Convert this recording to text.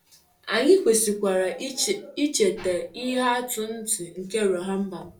Anyị kwesịkwara icheta ihe atụ ntị nke Rehoboam.